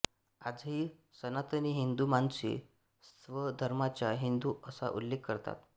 आजही सनातनी हिंदू माणसे स्वधर्माचा हिंदु असा उल्लेख करतात